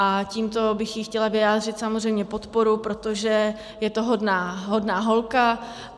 A tímto bych jí chtěla vyjádřit samozřejmě podporu, protože je to hodná holka.